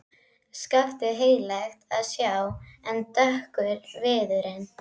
Skaftið heillegt að sjá en dökkur viðurinn.